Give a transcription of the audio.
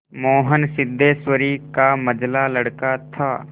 मोहन सिद्धेश्वरी का मंझला लड़का था